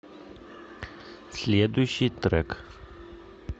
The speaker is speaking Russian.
следующий трек